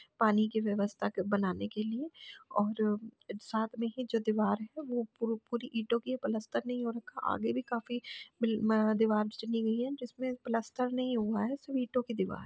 पानी की व्यवस्था के बनाने के लिए और साथ में ही जो दीवार है वह पूरी ईटों की है पलस्तर नहीं हो रखा आगे भी काफी दीवार चुनी गई हैं जिसमें पलस्तर नहीं हुआ है सिर्फ ईटों की दीवार --